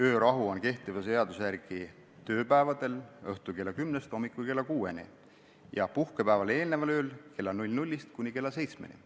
Öörahu kehtib seaduse järgi tööpäevadel õhtul kella kümnest hommikul kella kuueni ja puhkepäevale eelneval ööl kella 00-st kuni kella seitsmeni.